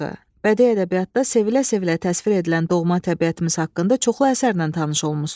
Bədii ədəbiyyatda sevilə-sevilə təsvir edilən doğma təbiətimiz haqqında çoxlu əsərlə tanış olmusunuz.